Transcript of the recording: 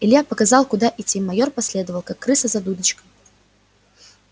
илья показал куда идти майор последовал как крыса за дудочкой